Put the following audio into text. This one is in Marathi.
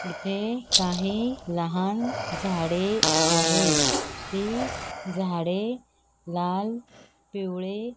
इथे काही लहान झाडे आहेत ती झाडे लाल पिवळे --